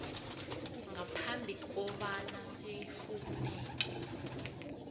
ngaphambi kobana sifuneke